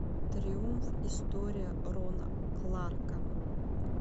триумф история рона кларка